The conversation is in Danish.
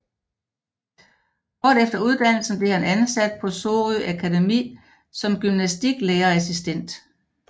Kort efter uddannelsen blev han ansat på Sorø Akademi som gymnastiklærerassistent